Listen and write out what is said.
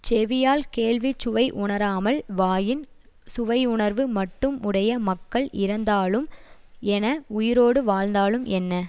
செவியால் கேள்விச் சுவை உணராமல் வாயின் சுவையுணர்வு மட்டும் உடைய மக்கள் இறந்தாலும் என உயிரோடு வாழ்ந்தாலும் என்ன